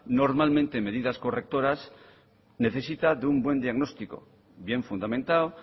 normalmente medidas correctoras necesita de un buen diagnóstico bien fundamentado